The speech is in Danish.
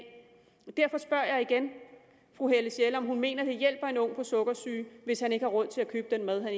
derfor spørger jeg igen fru helle sjelle om hun mener at det hjælper en ung med sukkersyge hvis han ikke har råd til at købe den mad